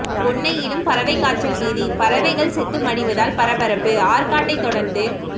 பொன்னையிலும் பறவைக்காய்ச்சல் பீதி பறவைகள் செத்து மடிவதால் பரபரப்பு ஆற்காட்டை தொடர்ந்து